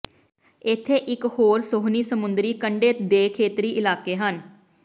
ਇੱਥੇ ਇਕ ਹੋਰ ਸੋਹਣੀ ਸਮੁੰਦਰੀ ਕੰਢੇ ਦੇ ਖੇਤਰੀ ਇਲਾਕੇ ਹਨ